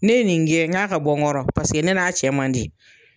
Ne ye nin gɛn n ka bɔ n kɔrɔ paseke ne n'a cɛ man di.